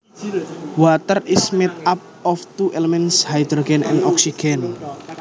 Water is made up of two elements Hydrogen and Oxygen